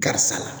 Karisa